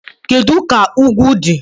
Kedu ka ugwu dị?